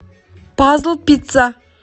пазл пицца